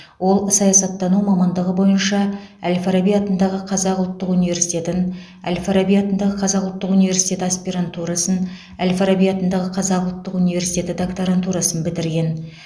ол саясаттану мамандығы бойынша әл фараби атындағы қазақ ұлттық университетін әл фараби атындағы қазақ ұлттық университеті аспирантурасын әл фараби атындағы қазақ ұлттық университеті докторантурасын бітірген